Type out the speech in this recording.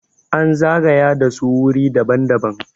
an zagaya da su wuri daban- daban